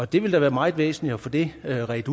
det vil da være meget væsentligt at få det udredt